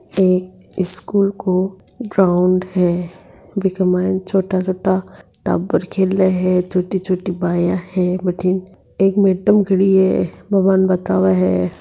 एक स्कूल को ग्राउंड है बिन्के माय छोटा-छोटा टाबर खेल्या है छोटी-छोटी बायां है मीटिंग एक मैडम खड़ी है बा बाने बतावे है।